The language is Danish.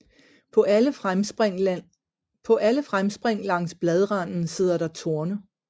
På alle fremspring langs bladranden sidder der torne